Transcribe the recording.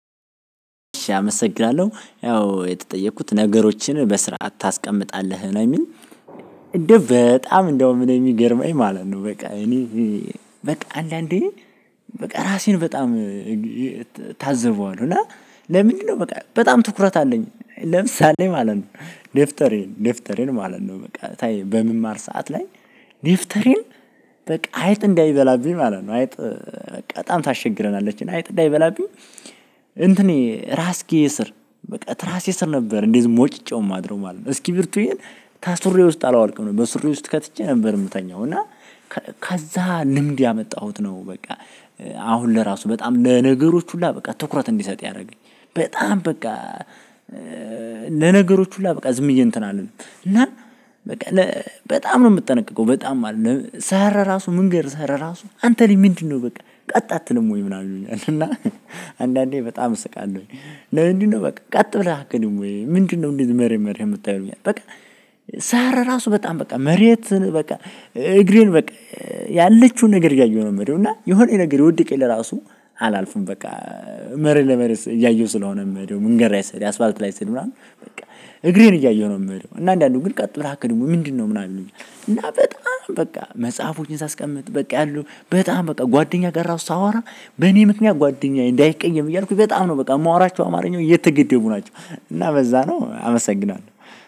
አመሰግናለሁ ያው የተጠየኩት ነገሮችን በስርዓት ታስቀምጣለህ ነው የሚል እንደው በጣም እንደውም እኔ የሚገርመኝ ማለት ነው። በቃ እኔ በቃ አንዳንዴ በቃ ራሴን በጣም እታዘበዋለሁ እና ለምንድነው በቃ በጣም ትኩረት አለኝ። ለምሳሌ ማለት ነው ዴፍጠሬን ዴፍጠሬን ማለት ነው በቃ በመማር ሰዓት ላይ ዴፍተሬን በቃ አይጥ እንዳይበላብኝ ማለት ነው። አይጥ በጣም ታስቸግረናለችና አይጥ እንዳይበላብኝ እንትኔ ራስጌ ስር በቃ ትራሴ ስር ነበር እንደዚ ሞጭጬው ማድረው ማለት ነው። እስኪቢርቶዬን ከሱሪዬ ውስጥ አላወልቅም በሱሬ ውስጥ ከትቼ ነበር የምተኛው እና ከዛ ልምድ ያመጣሁት ነው። በቃ አሁን ለራሱ በጣም ለነገሮች ሁላ በቃ ትኩረት እንድሰጥ ያደረገኝ። በጣም በቃ ለነገሮች ሁላ በቃ ዝምብዬ እንትን አልልም እና በቃ በጣም ነው የምጠነቀቀው በጣም ማለት ነው። ስሄድ ራሱ መንገድ ስሄድ ራሱ አንተ ላይ ምንድነው በቃ ቀጥ አትልም ወይ ምናምን ይሉኛል። እና አንዳንዴ በጣም እስቃለሁኝ። ለምንድነው በቃ ቀጥ ብለህ አትሄድም ወይ ምንድነው እንደዚህ መሬት መሬት የምታየው? በቃ ሳራ ራሱ በጣም በቃ መሬት በቃ እግሬን በቃ ያለችውን ነገር እያየው ነው የምሄደው። እና የሆነ ነገር የወደቀኝ ለራሱ አላልፍም። በቃ መሬት ለመሬት እያየሁ ስለሆነ እምሄደው መንገድ ስሄድ አስፋልት ላይ ስሄድ ምናምን በቃ እግሬን እያየሁ ነው የምሄደው። እና አንዳንዱን ግን ቀጥ ብለህ አትሄድም ምንድነው ምናምን ይሉኛል። እና በጣም በቃ መጽሐፎችን ሳስቀምጥ በቃ ያሉ በጣም በቃ ጓደኛ ጋር ራሱ ሳወራ በኔ ምክንያት ጓደኛዬ እንዳይቀየም እያልኩኝ በጣም ነው በቃ የማወራቸው አማርኛዎች እየተገደቡ ናቸው። እና በዛ ነው አመሰግናለሁ